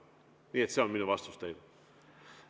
Nii et see on minu vastus teile.